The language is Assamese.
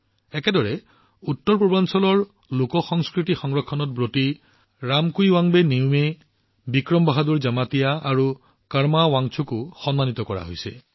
একেদৰে উত্তৰপূৰ্বাঞ্চলত তেওঁলোকৰ সংস্কৃতি সংৰক্ষণৰ সৈতে জড়িত ৰামকুইৱাংবে নিউমে বিক্ৰম বাহাদুৰ জামাতিয়া আৰু কৰ্মা ৱাংচুকো সন্মানিত কৰা হৈছে